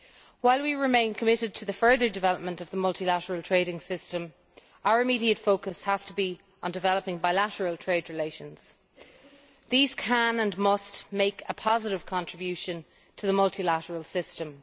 While we remain committed to the further development of the multilateral trading system, our immediate focus has to be on developing bilateral trade relations. These can and must make a positive contribution to the multilateral system.